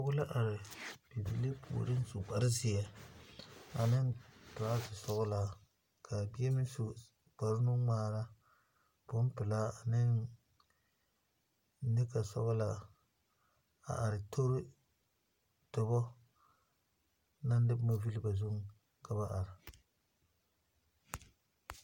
Pɔge la are bibiiri puoriŋ su kpare zeɛ ane toraza sɔglaa ka a bibie meŋ su kpare nuŋmaara boŋpelaa ne neka sɔglaa a are tori dɔba naŋ de boŋ a le ba zuŋ ka ba are.